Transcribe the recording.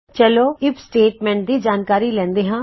ਚਲੋ IF statement ਦੀ ਜਾਣਕਾਰੀ ਲੈਂਦੇ ਹਾਂ